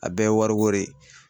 A bɛɛ ye wariko de ye.